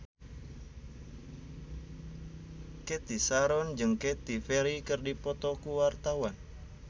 Cathy Sharon jeung Katy Perry keur dipoto ku wartawan